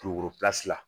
Kulukoro la